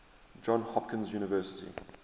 johns hopkins university